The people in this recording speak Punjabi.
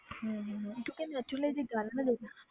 ਹਮ ਹਮ ਹਮ ਕਿਉਂਕਿ natural ਜਿਹੀ ਗੱਲ ਹੈ ਨਾ ਲੋਕ